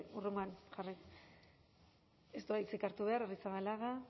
hurrengoan ez du hitzik hartu behar arrizabalaga